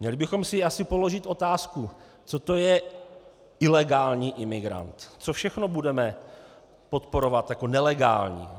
Měli bychom si asi položit otázku, co to je ilegální imigrant, co všechno budeme podporovat jako nelegální.